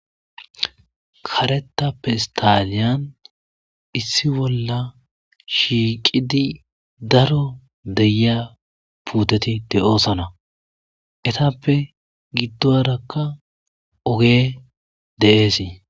Karetta pestaleyan issi bolla shiiqidi daro de'iya puuteti de'osona eetappe gidorakka ogey de'es.